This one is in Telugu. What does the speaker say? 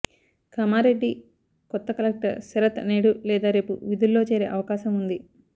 కామారెడ్డి కొత్త కలెక్టర్ శరత్ నేడు లేదా రేపు విధుల్లో చేరే అవకాశం ఉంది